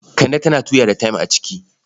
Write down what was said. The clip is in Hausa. Kande tana tuya da tem a ciki.